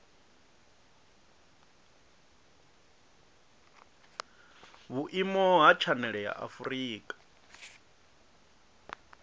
vhuimo ha tshanele ya afurika